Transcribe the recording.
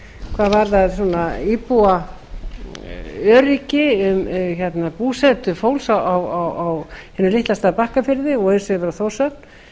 hvað varðar íbúaöryggi um búsetu fólks á hinum litla stað bakkafirði og eins yfir á þórshöfn